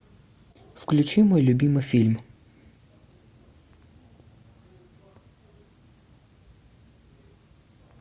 включи мой любимый фильм